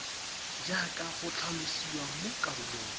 jaaka go tlhalosiwa mo karolong